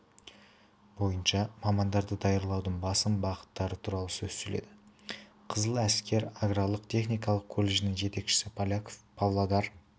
бойынша мамандарды даярлаудың басым бағыттары туралы сөз сөйледі қызыл әскер аграрлық-техникалық колледжінің жетекшісі поляков павлодар